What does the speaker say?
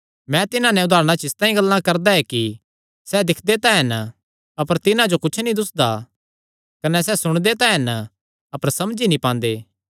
मैं तिन्हां नैं उदारणा च इसतांई गल्लां करदा ऐ कि सैह़ दिक्खदे तां हन अपर तिन्हां जो कुच्छ नीं दुस्सदा सुणदे तां हन अपर समझी नीं पांदे